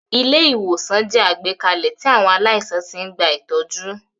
Ilé-ìwòsàn jẹ́ àgbékalẹ̀ tí àwọn aláìsàn ti ń gba ìtọ́jú.